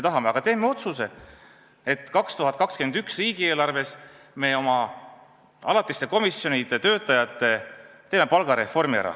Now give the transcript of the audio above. Aga teeme otsuse, et 2021. aasta riigieelarves me teeme ära oma alatiste komisjonide töötajate palgareformi.